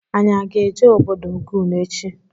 Anyị aga eje ọbọdọ Ogun echi?